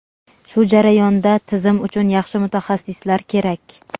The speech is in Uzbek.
Shu jarayonda tizim uchun yaxshi mutaxassislar kerak.